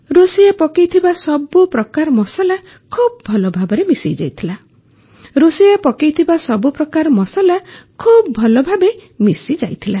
ରୋଷେଇୟା ପକାଇଥିବା ସବୁ ପ୍ରକାର ମସଲା ଖୁବ ଭଲଭାବେ ମିଶିଯାଇଥିଲା